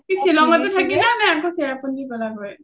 শ্বিলংতে থাকিলা নে চেৰাপুঞ্জি গ’লা গৈ?